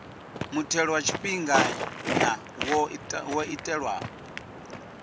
muthelo wa tshifhinganya wo itelwa